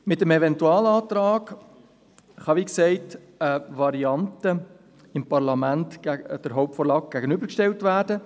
Mit dem Eventualantrag kann, wie gesagt, eine Variante des Parlaments der Hauptvorlage gegenübergestellt werden.